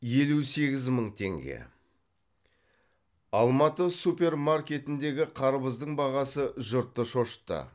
елу сегіз мың теңге алматы супермаркетіндегі қарбыздың бағасы жұртты шошытты